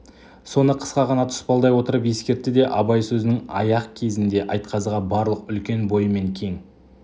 соны қысқа ғана тұспалдай отырып ескертті де абай сөзінің аяқ кезінде айтқазыға барлық үлкен бойымен кең